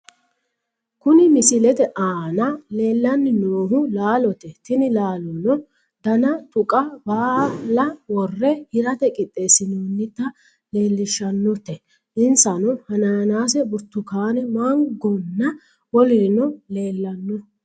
Kuni misilete aana leellanni noohu laalote. tini laalono dana tuqa baala worre hirate qixxeessinoonnita leellishshannote , insano hanaanaase, burtukkaane, mangonna wolurino leellanno.